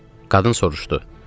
Qadın soruşdu: